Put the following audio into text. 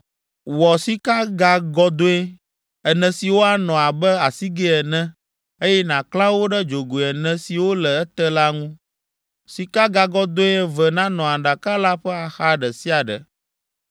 Wɔ sikagagɔdɔ̃e ene siwo anɔ abe asigɛ ene, eye nàklã wo ɖe dzogoe ene siwo le ete la ŋu; sikagagɔ̃dɔ̃e eve nanɔ aɖaka la ƒe axa ɖe sia ɖe.